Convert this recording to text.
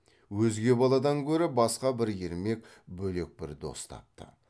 өзге баладан гөрі басқа бір ермек бөлек бір дос тапты